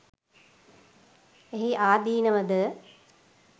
එහි ආදීනව ද